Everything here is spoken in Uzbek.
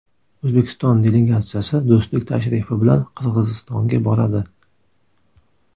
O‘zbekiston delegatsiyasi do‘stlik tashrifi bilan Qirg‘izistonga boradi .